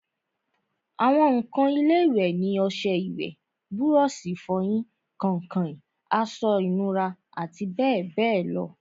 àwọn ǹkan ilé-ìwẹ̀ ni ọsẹ ìwẹ̀, búrọ̀sì ìfọyín, kàǹkàn, aṣọ ìnura àti bẹ́ẹ̀bẹ́ẹ̀ lọ